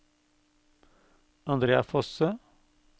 Andrea Fosse